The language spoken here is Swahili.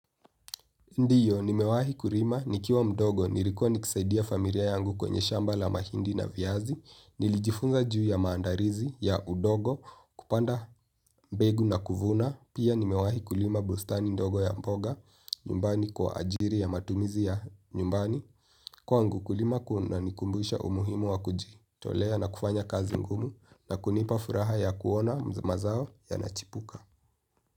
Ndiyo, nimewahi kulima, nikiwa mdogo, nilikuwa nikisaidia familia yangu kwenye shamba la mahindi na viazi, nilijifunza juu ya maandalizi ya udongo kupanda mbegu na kuvuna, pia nimewahi kulima bustani ndogo ya mboga, nyumbani kwa ajiri ya matumizi ya nyumbani, kwangu kulima kuna nikumbusha umuhimu wa kuji tolea na kufanya kazi ngumu na kunipa furaha ya kuona mazao yanachipuka.